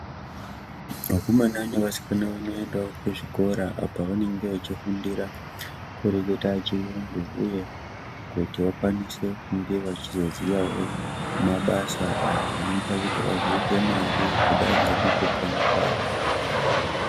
Vakomana nevasikana vanoendawo kuzvikora apo pavanenge vachifundira kureketa chirungu uye kuti vakwanise vachizoziyawo mabasa anoita kuvapa mare kudai nekupona kwawo.